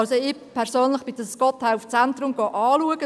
Ich persönlich bin das Gotthelf-Zentrum anschauen gegangen.